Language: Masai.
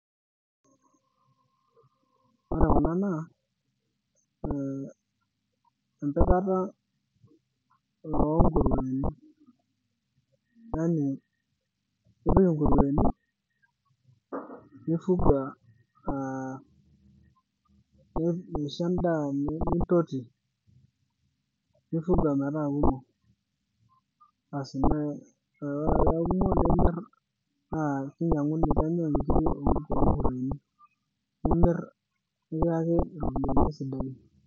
Ore kuna naa ee empikata oonkurueni, yani ipik inkurueni nifuga aa nishori endaa aa nintoti nifuga metaa kumok ,asii neaku kinyanguni nikiyaki ropiyiani sidan.